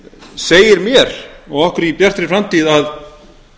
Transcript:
segir mér og okkur í bjartri framtíð að